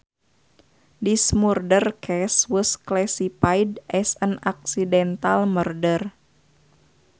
This murder case was classified as an accidental murder